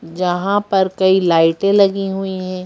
जहाँ पर कई लाइटें लगी हुई है ।